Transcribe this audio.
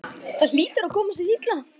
Það hlýtur að koma sér illa.